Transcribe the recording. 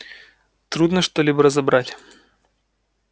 трудно что-либо разобрать